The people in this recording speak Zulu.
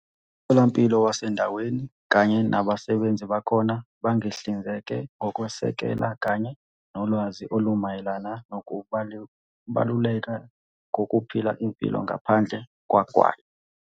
"Umtholampilo wasendaweni kanye nabasebenzi bakhona bangihlinzeke ngokwesekela kanye nolwazi olumayelana nokubaluleka kokuphila impilo ngaphandle kogwayi."